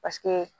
Paseke